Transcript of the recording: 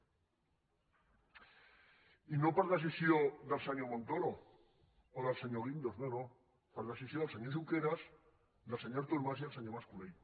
i no per decisió del senyor montoro o del senyor guindos no no per decisió del senyor junqueras del senyor artur mas i del senyor mas colell